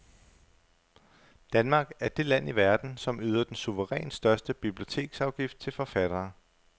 Danmark er det land i verden, som yder den suverænt største biblioteksafgift til forfattere.